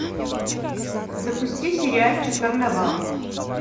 запусти сериальчик карнавал